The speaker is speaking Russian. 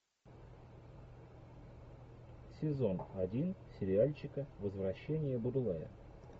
сезон один сериальчика возвращение будулая